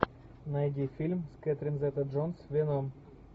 найди фильм с кэтрин зета джонс веном